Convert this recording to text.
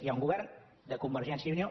hi ha un govern de convergència i unió